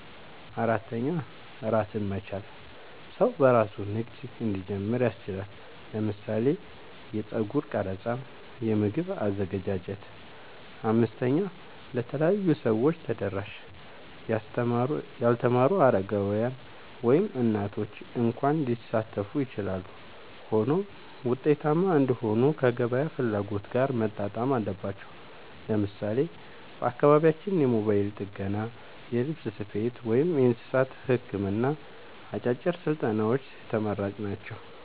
4. ራስን መቻል – ሰው በራሱ ንግድ እንዲጀምር ያስችላል (ለምሳሌ የጸጉር ቀረጻ፣ የምግብ አዘገጃጀት)። 5. ለተለያዩ ሰዎች ተደራሽ – ያልተማሩ፣ አረጋውያን፣ ወይም እናቶች እንኳ ሊሳተፉ ይችላሉ። ሆኖም ውጤታማ እንዲሆኑ ከገበያ ፍላጎት ጋር መጣጣም አለባቸው። ለምሳሌ በአካባቢያችን የሞባይል ጥገና፣ የልብስ ስፌት፣ ወይም የእንስሳት ሕክምና አጫጭር ስልጠናዎች ተመራጭ ናቸው።